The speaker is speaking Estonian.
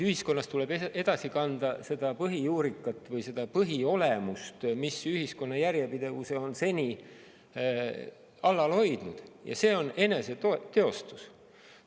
Ühiskonnas tuleb edasi kanda seda põhijuurikat või põhiolemust, mis ühiskonna järjepidevuse on seni alal hoidnud, ja see on eneseteostus.